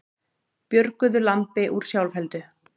Björguðu lambi úr sjálfheldu